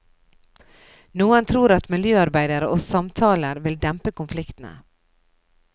Noen tror at miljøarbeidere og samtaler vil dempe konfliktene.